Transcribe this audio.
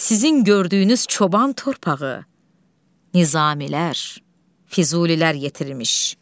Sizin gördüyünüz çoban torpağı Nizamilər, Füzulilər yetirmiş.